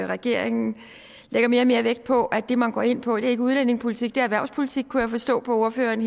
regeringen lægger mere og mere vægt på at det man går ind på ikke er udlændingepolitik det er erhvervspolitik kunne forstå på ordføreren